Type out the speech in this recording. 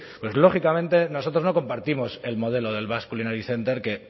pues lógicamente nosotros no compartimos el modelo del basque culinary center que